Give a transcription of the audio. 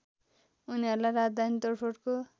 उनीहरुलाई राजधानी तोडफोडको